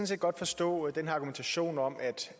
set godt forstå den her argumentation om